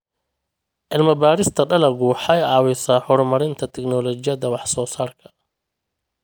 Cilmi-baarista dalaggu waxay caawisaa horumarinta tignoolajiyada wax-soo-saarka.